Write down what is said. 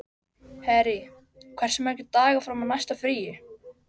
Harry, hversu margir dagar fram að næsta fríi?